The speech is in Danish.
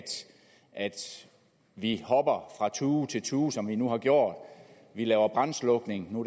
vi hopper fra tue til tue som vi nu har gjort vi laver brandslukning nu